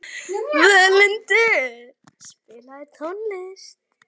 Völundur, spilaðu tónlist.